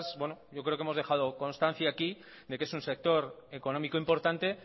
yo creo que hemos dejado constancia aquí de que es un sector económico importante